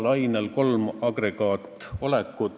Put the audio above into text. No pakuti välja üks trahviühik ja arutati, et see peaks olema optimaalne.